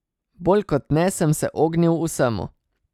Bolj kot ne sem se ognil vsemu.